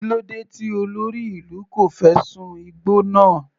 Kílódé tí olórí ìlú kò fẹ́ sun igbó náà.